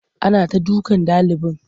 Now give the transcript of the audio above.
Ana ta dukan ɗalibin.